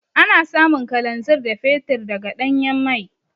Ana samun Kalanzir da Fetur daga Ɗanyan mai.